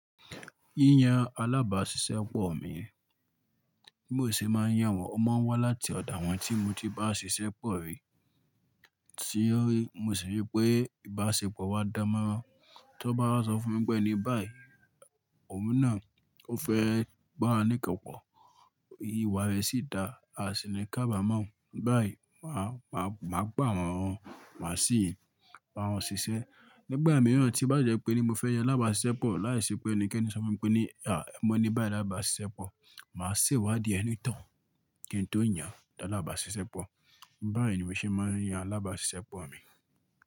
Yíyan alábàáṣiṣẹ́ pọ̀ mi bí mo ṣe máa ń yàn wọ́n, ó máa ń wá láti ọ̀dà wọn tí mo ti bá ṣiṣẹ́ pọ̀ rí. Tí mo sì rí pé ìbáṣepọ̀ wa dán mọ́ran. Tí ó bá wá sọ fún mi pé ní, ẹni báyìí, òun náà ó fẹ́ bà wá ní nkan pọ́, ìwà rẹ̀ sì dáa, a a sì ní kábámọ̀. Báyìí, màá, màá, màá gbà wọ́n, màá sì bá wọn ṣiṣẹ́. Nígbà mìíràn tí o bá jẹ́ pé ní mo fẹ́ yan alábàáṣiṣẹ́pọ̀ lá ì ṣe pé ẹnikẹ́ni sọ fún mi pé ní, mọ̀ ní báyi laábàáṣiṣẹ́ pọ̀. Màá se wádìí ẹni tohun kí n tó yàn lalábàáṣiṣẹ́pọ̀. Báyìí ni mo ṣe máa ń yan alábàáṣiṣẹ́pọ̀ mi.